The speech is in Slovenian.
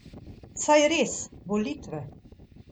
Saj res, volitve.